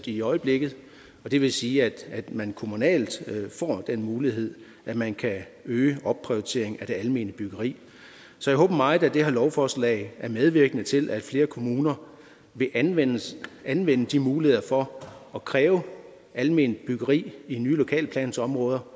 i øjeblikket og det vil sige at man kommunalt får den mulighed at man kan øge opprioriteringen af det almene byggeri så jeg håber meget at det her lovforslag er medvirkende til at flere kommuner vil anvende anvende de muligheder for at kræve alment byggeri i nye lokalplansområder